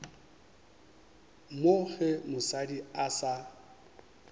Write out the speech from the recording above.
mo ge mosadi a sa